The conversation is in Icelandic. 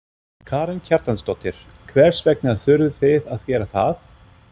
Karen Kjartansdóttir: Hvers vegna þurfið þið að gera það?